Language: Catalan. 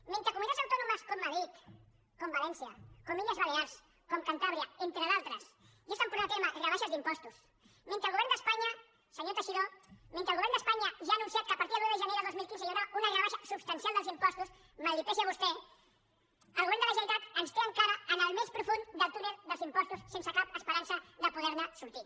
mentre comunitats autònomes com madrid com valència com les illes balears com cantàbria entre d’altres ja porten a terme rebaixes d’impostos mentre el govern d’espanya senyor teixidó mentre el govern d’espanya ja ha anunciat que a partir de l’un de gener del dos mil quinze hi haurà una rebaixa substancial dels impostos mal que li pesi a vostè el govern de la generalitat ens té encara en el més profund del túnel dels impostos sense cap esperança de poder ne sortir